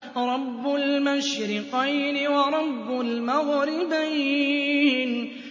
رَبُّ الْمَشْرِقَيْنِ وَرَبُّ الْمَغْرِبَيْنِ